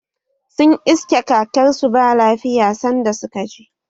Sun iske kakar su ba lafiya sanda suka je